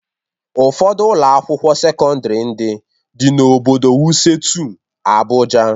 Ụfọdụ Ụlọ akwụkwọ sekọndrị ndị dị n'obodo Wuse 2, Abụja